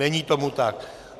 Není tomu tak.